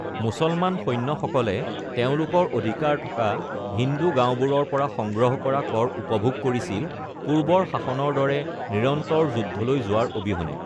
মুছলমান সৈন্যসকলে তেওঁলোকৰ অধিকাৰ থকা হিন্দু গাওঁবোৰৰ পৰা সংগ্ৰহ কৰা কৰ উপভোগ কৰিছিল, পূৰ্বৰ শাসনৰ দৰে নিৰন্তৰ যুদ্ধলৈ যোৱাৰ অবিহনে।